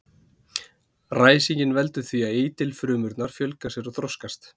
Ræsingin veldur því að eitilfrumurnar fjölga sér og þroskast.